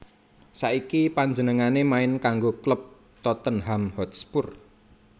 Saiki panjenengané main kanggo klub Tottenham Hotspur